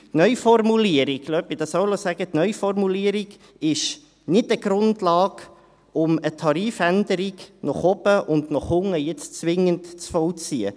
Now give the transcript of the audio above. Die Neuformulierung – lassen Sie mich dies auch noch sagen – ist keine Grundlage, um eine Tarifänderung nach oben und nach unten jetzt zwingend zu vollziehen.